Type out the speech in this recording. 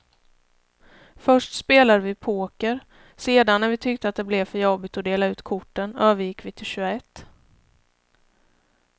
Först spelade vi poker, sedan när vi tyckte att det blev för jobbigt att dela ut korten övergick vi till tjugoett.